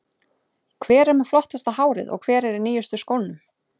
Hver er með flottasta hárið og hver er í nýjustu skónum?